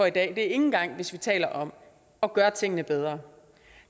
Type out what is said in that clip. ikke engang hvis vi taler om at gøre tingene bedre